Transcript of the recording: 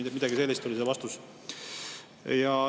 No midagi sellist oli see vastus.